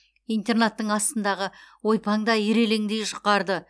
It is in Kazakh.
интернаттың астындағы ойпаңда ирелеңдей жұқарды